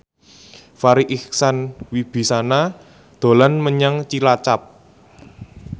Farri Icksan Wibisana dolan menyang Cilacap